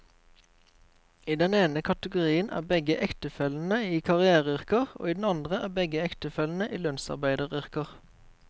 I den ene kategorien er begge ektefellene i karriereyrker, og i den andre er begge ektefellene i lønnsarbeideryrker.